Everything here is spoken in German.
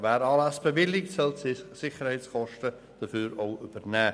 Wer Anlässe bewilligt, soll die entstehenden Sicherheitskosten auch übernehmen.